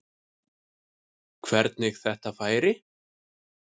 Hvernig þetta færi.